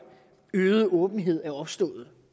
øgede åbenhed er opstået